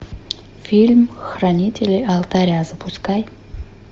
фильм хранители алтаря запускай